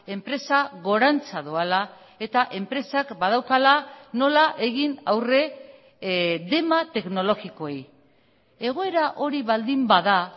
enpresa gorantza doala eta enpresak badaukala nola egin aurre dema teknologikoei egoera hori baldin bada